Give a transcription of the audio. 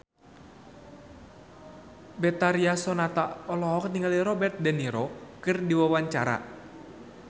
Betharia Sonata olohok ningali Robert de Niro keur diwawancara